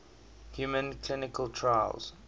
human clinical trials